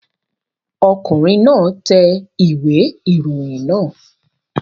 Ọkùnrin náà tẹ ìwé ìròyìn náà